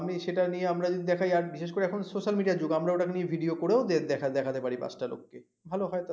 সেটা নিয়ে আমরা যদি বিশেষ করে এখন social media এর যুগ আমরা ওটা কে নিয়ে video করে দেখাতে পার বাচ্চালোক কে ভাল হয়